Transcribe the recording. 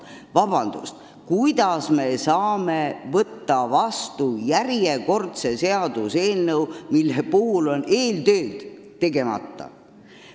Vabandust, kuidas me saame võtta vastu järjekordse seaduseelnõu, mille eeltööd on tegemata?